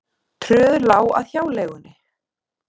Tröð lá að hjáleigunni.